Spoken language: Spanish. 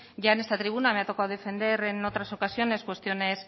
en esta tribuna me ha tocado defender en otras ocasiones cuestiones